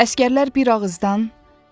Əsgərlər bir ağızdan.